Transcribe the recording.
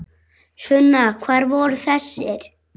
Sunna: Hvar voru þessir?